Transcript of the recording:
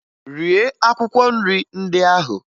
Rie akwụkwọ nrị ndị ahụ!